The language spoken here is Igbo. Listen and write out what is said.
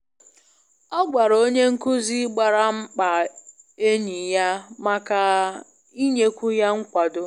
Ọ gwara onye nkuzi gbasara mkpa enyi ya maka i nyekwu ya nkwado.